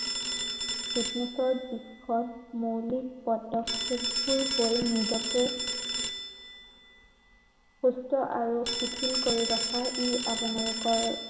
fitness ৰ বিষয়ে মৌলিক পদক্ষেপবোৰ কৰি নিজকে সুস্থ আৰু শিথিল কৰি ৰখাৰ ই আপোনালোকৰ